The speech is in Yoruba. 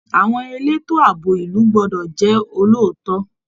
Àwọn elétò ààbò ìlú gbọ́dọ̀ jẹ́ olóòótọ́